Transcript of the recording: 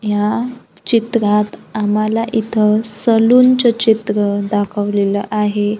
ह्या चित्रात आम्हाला इथं सलून च चित्र दाखवलेलं आहे.